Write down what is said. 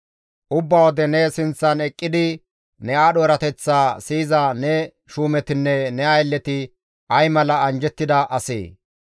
Ubba wode ne sinththan eqqidi ne aadho erateththaa siyiza ne shuumetinne ne aylleti ay mala anjjettida asee!